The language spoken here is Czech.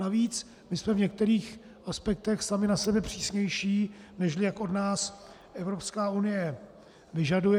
Navíc my jsme v některých aspektech sami na sebe přísnější, než jak od nás Evropská unie vyžaduje.